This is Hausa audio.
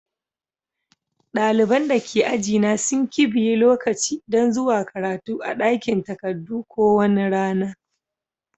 Dalibain da ke aji na sun kibiye lokaci dan zuwa karatu a dakin takadu ko wani rana.